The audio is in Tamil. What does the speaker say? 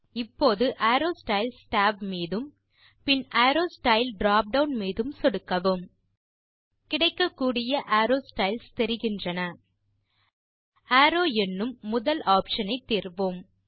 இப்போது அரோவ் ஸ்டைல்ஸ் tab மீதும் பின் அரோவ் ஸ்டைல் drop டவுன் மீதும் சொடுக்கவும் கிடைக்கக்கூடிய அரோவ் ஸ்டைல்ஸ் தெரிகின்றன அரோவ் என்னும் முதல் ஆப்ஷன் ஐ தேர்வோம்